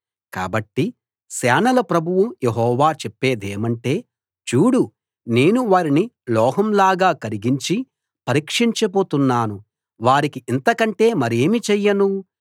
కాబట్టి సేనల ప్రభువు యెహోవా చెప్పేదేమంటే చూడూ నేను వారిని లోహం లాగా కరిగించి పరీక్షించబోతున్నాను వారికి ఇంతకంటే మరేమి చెయ్యను